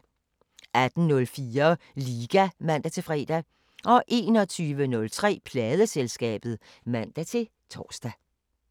18:04: Liga (man-fre) 21:03: Pladeselskabet (man-tor)